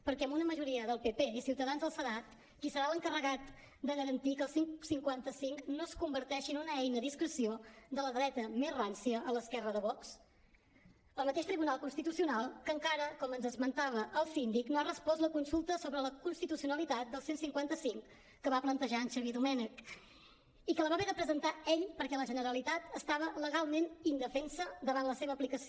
perquè amb una majoria del pp i ciutadans al senat qui serà l’encarregat de garantir que el cent i cinquanta cinc no es converteixi en una eina a discreció de la dreta més rància a l’esquerra de vox el mateix tribunal constitucional que encara com ens esmentava el síndic no ha respost la consulta sobre la constitucionalitat del cent i cinquanta cinc que va plantejar en xavier domènech i que la va haver de presentar ell perquè la generalitat estava legalment indefensa davant de la seva aplicació